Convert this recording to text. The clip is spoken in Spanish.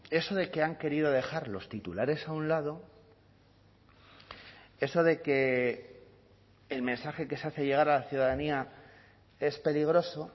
eso de que han querido dejar los titulares a un lado eso de que el mensaje que se hace llegar a la ciudadanía es peligroso